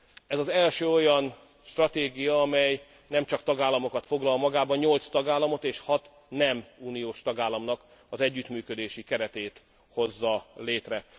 Ez az első olyan stratégia, amely nem csak tagállamokat foglal magába nyolc tagállamot és hat nem uniós tagállamnak az együttműködési keretét hozza létre.